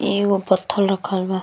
एगो पत्थल रखल बा।